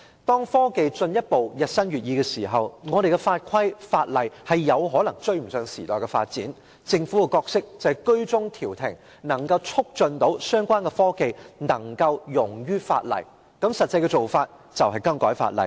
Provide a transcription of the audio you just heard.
當科技日新月異，而我們的法規、法例卻有可能追不上時代的發展時，政府應擔當居中調停的角色，促使相關科技能夠容於法例之下，而實際的做法就是修改法例。